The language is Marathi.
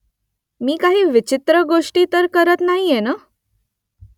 मी काही विचित्र गोष्टी तर करत नाहीये ना ?